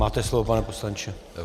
Máte slovo, pane poslanče.